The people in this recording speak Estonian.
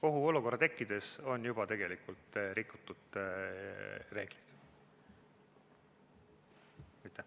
Ohuolukorra tekkides on juba tegelikult reegleid rikutud.